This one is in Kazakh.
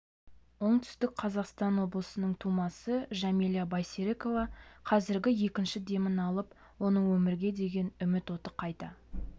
оңтүстік қазақстан облысының тумасы жәмила байсерікова қазір екінші демін алып оның өмірге деген үміт оты қайта